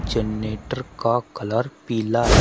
Generator का colour पीला है।